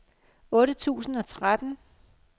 otte tusind og tretten